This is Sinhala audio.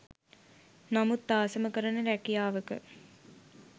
නමුත් ආසම කරන රැකියාවක